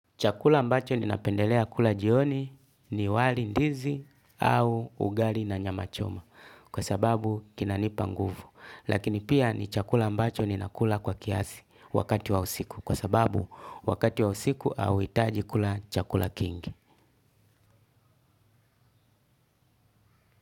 Chakula ambacho ninapendelea kula jioni ni wali ndizi au ugali na nyama choma kwa sababu kinanipa nguvu lakini pia ni chakula ambacho ninakula kwa kiasi wakati wa usiku kwa sababu wakati wa usiku hauitaji kula chakula kingi.